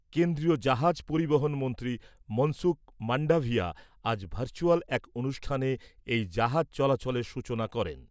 কেন্দ্রীয় জাহাজ পরিবহণ মন্ত্রী মনসুখ মান্ডাভিয়া আজ ভার্চুয়াল এক অনুষ্ঠানে এই জাহাজ চলাচলের সূচনা করেন ।